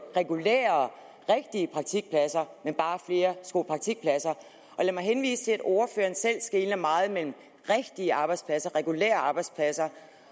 regulære rigtige praktikpladser men bare flere skolepraktikpladser lad mig henvise til at ordføreren selv skelnede meget mellem rigtige arbejdspladser regulære arbejdspladser